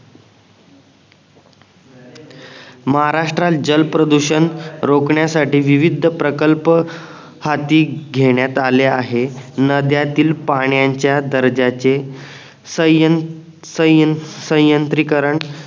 महाराष्ट्राल जल प्रदूषण रोखण्यासाठी विविध प्रकल्प हाती घेण्यात आले आहे नद्यांतील पाण्याच्या दर्जाचे संय्यन संय्यन संययांत्रिकरण